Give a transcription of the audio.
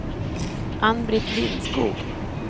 Ann-Britt Lindskog